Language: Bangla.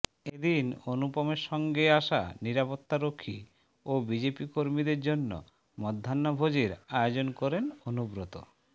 এদিন অনুপমের সঙ্গে আসা নিরাপত্তারক্ষী ও বিজেপি কর্মীদের জন্য মধ্যাহ্নভোজের আয়োজন করেন অনুব্রত